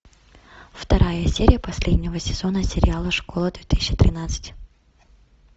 вторая серия последнего сезона сериала школа две тысячи тринадцать